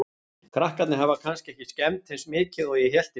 Krakkarnir hafa kannski ekki skemmt eins mikið og ég hélt í fyrstu.